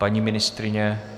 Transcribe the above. Paní ministryně?